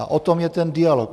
A o tom je ten dialog.